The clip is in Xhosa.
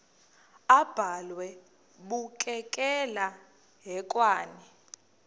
abhalwe bukekela hekwane